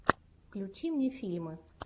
включи мне фильмы